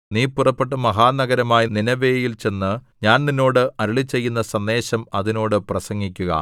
നീ പുറപ്പെട്ട് മഹാനഗരമായ നീനെവേയിൽ ചെന്ന് ഞാൻ നിന്നോട് അരുളിച്ചെയ്യുന്ന സന്ദേശം അതിനോട് പ്രസംഗിക്കുക